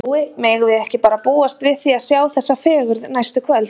Jói, megum við ekki bara búast við því að sjá þessa fegurð næstu kvöld?